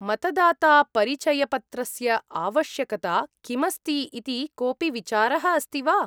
मतदातापरिचयपत्रस्य आवश्यकता किमस्ति इति कोपि विचारः अस्ति वा?